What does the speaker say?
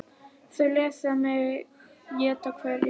Þau lesa í mig, éta hverja hugsun.